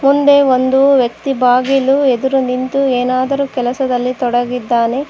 ಮುಂದೆ ಒಂದು ವ್ಯಕ್ತಿ ಬಾಗಿಲು ಎದುರು ನಿಂತು ಏನಾದರೂ ಕೆಲಸದಲ್ಲಿ ತೊಡಗಿದ್ದಾನೆ.